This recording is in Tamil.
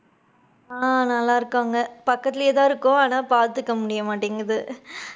ஆஹ் நல்லா இருக்காங்க. பக்கத்துலையே தான் இருக்கோம். ஆனா, பாத்துக்க முடிய மாட்டேங்குது.